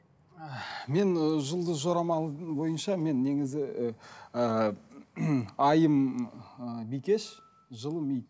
мен ы жұлдыз жорамал бойынша мен негізі ііі айым ы бикеш жыл ми